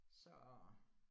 Så